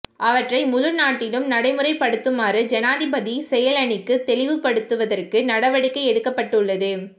அவற்றை முழு நாட்டிலும் நடைமுறைப்படுத்துமாறு ஜனாதிபதி செயலணிக்கு தெளிவுபடுத்துவதற்கு நடவடிக்கை எடுக்கப்பட்டுள்ளது